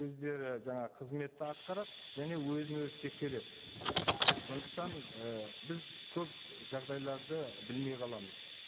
өздері жаңа қызметті атқарады және өзін өзі тексереді сондықтан і біз көп жағдайларды білмей қаламыз